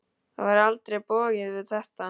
Það var eitthvað bogið við þetta.